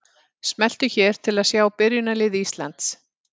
Smelltu hér til að sjá byrjunarlið Íslands.